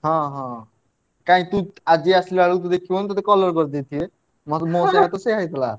ହଁ ହଁ କାଇଁ ତୁ ଆଜି ଆସିଲା ବେଳେ ଦେଖିବୁନି ତତେ colour କରିଦେଇଥିବେ ହଁ ମୋ ସହିତ ତ ସେଇଆ ହେଇଥିଲା।